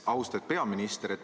Austatud peaminister!